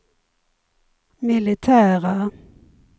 militära